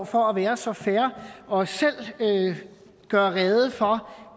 for at være så fair og selv gøre rede for